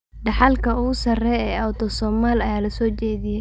Dhaxalka ugu sarreeya ee Autosomal ayaa la soo jeediyay.